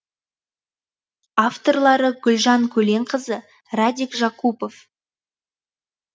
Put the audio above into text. авторлары гүлжан көленқызы радик жакупов